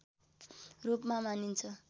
रूपमा मानिन्छ